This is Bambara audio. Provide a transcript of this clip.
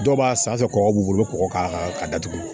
Dɔw b'a san kɔgɔ b'u bolo kɔgɔ k'a datugu